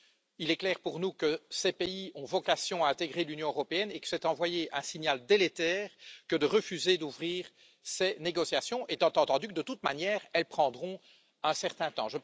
Il est clair pour nous que ces pays ont vocation à intégrer l'Union européenne et que c'est envoyer un signal délétère que de refuser d'ouvrir ces négociations, étant entendu que, de toute manière, elles prendront un certain temps.